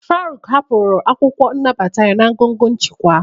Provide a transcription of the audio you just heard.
Faruk hapụrụ akwụkwọ nnabata ya na ngọngọ nchịkwa.